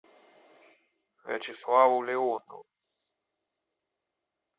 вячеславу леонову